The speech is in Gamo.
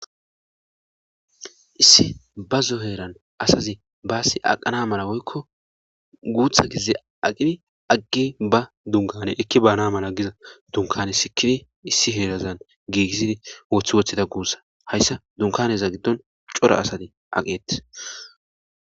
issi ba zoheeran asazi baasi aqana mala woykko guutha gize aqimi aggi ba dunkane ekki baana mala giza dunkane sikifi issi heerazan giigissidi woothi wothida guussa hayssa dunkaneza giddon cora asati aqeeti